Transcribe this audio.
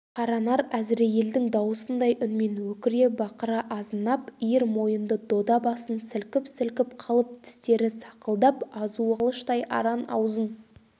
қаранар әзірейілдің дауысындай үнмен өкіре-бақыра азынап иір мойынды дода басын сілкіп-сілкіп қалып тістері сақылдап азуы қылыштай аран аузын